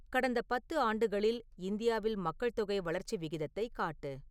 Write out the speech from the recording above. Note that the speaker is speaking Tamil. கடந்த பத்து ஆண்டுகளில் இந்தியாவில் மக்கள்தொகை வளர்ச்சி விகிதத்தைக் காட்டு